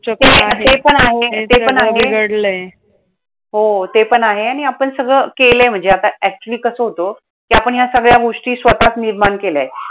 चक्र आहे हो ते पण आहे, ते पण आहे ते सगळं बिघडलंय. हो ते पण आहे आणि आपण सगळं केलंय म्हणजे आता actually कसं होतं! कि आपण या सगळ्या गोष्टी स्वतःच निर्माण केल्यायत.